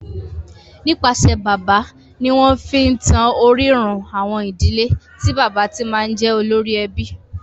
Nípasẹ̀ bàbá ni wọ́n fi ń tan orírun àwọn ìdílé tí bàbá ti máa ń jẹ́ olórí ẹbí.